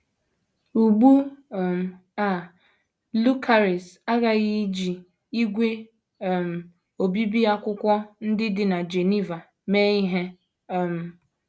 Ugbu um a Lucaris aghaghị iji ígwè um obibi akwụkwọ ndị dị na Geneva mee ihe um.